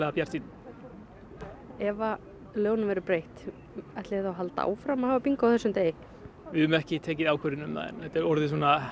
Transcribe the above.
bjartsýnn ef að lögunum verður breytt ætliði þá að halda áfram að hafa bingó á þessum degi við höfum ekki tekið ákvörðun um það en þetta er orðið svona